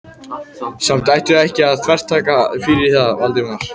Samt ættum við ekki að þvertaka fyrir það, Valdimar.